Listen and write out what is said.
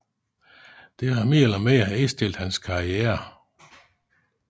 Dette har mere eller mindre indstillet hans karriere